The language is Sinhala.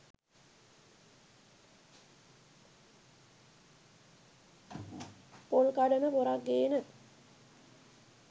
පොල් කඩන පොරක් ගේන